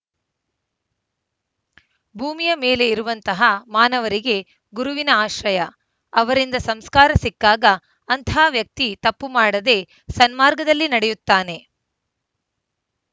ಭೂಮಿಯ ಮೇಲೆ ಇರುವಂತಹ ಮಾನವರಿಗೆ ಗುರುವಿನ ಆಶ್ರಯ ಅವರಿಂದ ಸಂಸ್ಕಾರ ಸಿಕ್ಕಾಗ ಅಂತಹ ವ್ಯಕ್ತಿ ತಪ್ಪು ಮಾಡದೇ ಸನ್ಮಾರ್ಗದಲ್ಲಿ ನಡೆಯುತ್ತಾನೆ